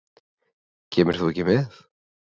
Kemur þú ekki með?